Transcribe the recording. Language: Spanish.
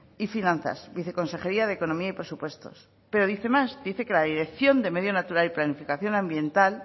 y finanzas la viceconsejería de economía y presupuestos pero dice más dice que la dirección de medio natural y planificación ambiental es la